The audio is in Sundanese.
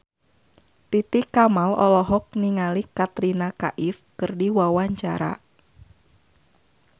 Titi Kamal olohok ningali Katrina Kaif keur diwawancara